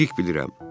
Dəqiq bilirəm.